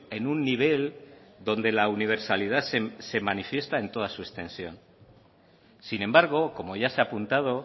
en un nivel donde la universalidad se manifiesta en toda su extensión sin embargo como ya se ha apuntado